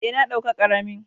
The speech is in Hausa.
Eh, na dauka karamin.